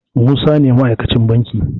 Musa ne ma aikacin banki